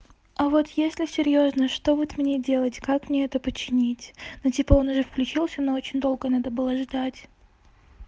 а вот если серьёзно что вот мне делать как мне это починить но типа он уже включился но очень долго надо было ждать